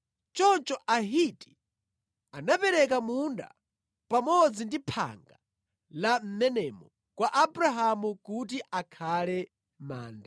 Choncho Ahiti anapereka munda pamodzi ndi phanga la mʼmenemo kwa Abrahamu kuti akhale manda.